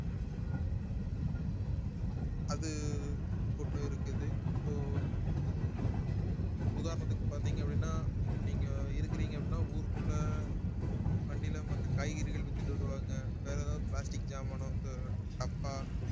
அது ஒண்ணு இருக்குது இப்போ உதாரணத்துக்கு பார்த்தீங்க அப்படின்னா இப்போ நீங்க இருக்கிறீங்க அப்படின்னா ஊருக்குள்ள வண்டியில மத்த காய்கறிகள் வித்துட்டு வருவாங்க வேற ஏதாவது plastic சாமானோ ஹம் டப்பா